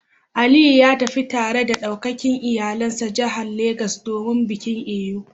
Aliyu ya tafi tare da daukacin iyalansa jihar Legas domin bikin Eyo